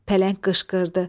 Pələng qışqırdı: